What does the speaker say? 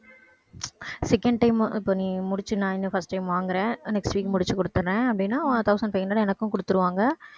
second time இப்ப நீ முடிச்சி நான் இன்னும் first time வாங்குறேன் next week முடிச்சு கொடுத்திடுறேன் அப்படின்னா thousand five hundred எனக்கும் கொடுத்திருவாங்க